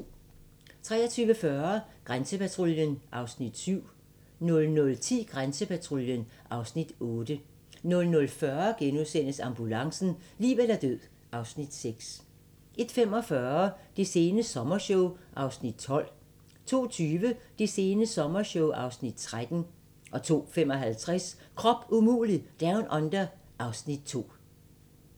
23:40: Grænsepatruljen (Afs. 7) 00:10: Grænsepatruljen (Afs. 8) 00:40: Ambulancen - liv eller død (Afs. 6)* 01:45: Det sene sommershow (Afs. 12) 02:20: Det sene sommershow (Afs. 13) 02:55: Krop umulig Down Under (Afs. 2)